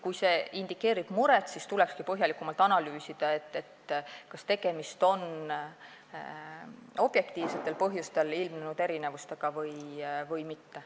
Kui see indikeerib muret, siis tulekski põhjalikumalt analüüsida, kas tegemist on objektiivsetel põhjustel ilmnenud erinevustega või mitte.